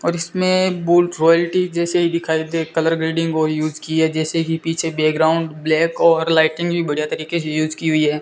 और इसमें बहुत रॉयल्टी जैसे दिखाई दे कलर ग्रेडिंग को यूज की है जैसे कि पीछे बैकग्राउंड ब्लैक और लाइटिंग भी बढ़िया तरीके से यूज की हुई है।